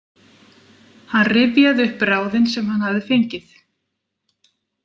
Hann rifjaði upp ráðin sem hann hafði fengið.